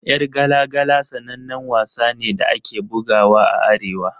Yar gala gala sanannen wasa ne da ake bugawa a Arewa.